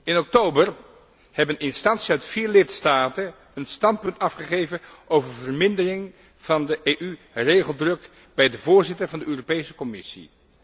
In oktober hebben instanties uit vier lidstaten een standpunt afgegeven over vermindering van de EU regeldruk bij de voorzitter van de Europese Commissie.